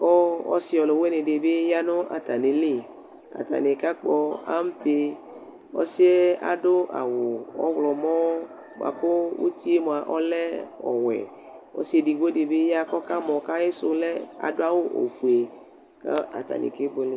kʋ ɔsi ɔlʋwini di bi ya nʋ atami li Atani kakpɔ ampe Ɔsi ɛ adʋ awʋ ɔwlɔmɔ boa kʋ uti yɛ moa ɔlɛ ɔwɛ Ɔsi ɛdigbo di bi ya kʋ ɔkamɔ kʋ ayisʋ lɛ, adʋ awʋ ofue kʋ atani kebuele